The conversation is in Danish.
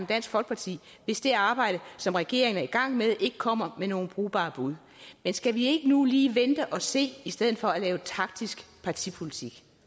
dansk folkeparti hvis det arbejde som regeringen er i gang med ikke kommer med nogen brugbare bud men skal vi ikke nu lige vente og se i stedet for at lave taktisk partipolitik